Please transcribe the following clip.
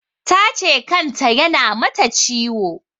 Ta ce kan ta ya na mata ciwo